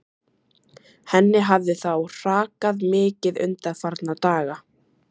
Henni hafði þá hrakað mikið undanfarna daga.